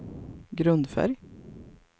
grundfärg